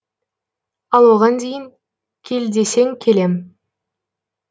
ал оған дейін кел десең келем